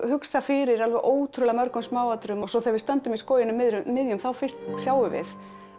hugsa fyrir alveg ótrúlega mörgum smáatriðum og svo þegar við stöndum í skóginum miðjum þá fyrst sjáum við